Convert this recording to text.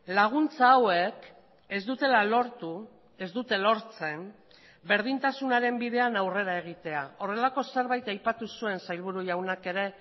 laguntza hauek ez dutela lortu ez dute lortzen berdintasunaren bidean aurrera egitea horrelako zerbait aipatu zuen sailburu jaunak ere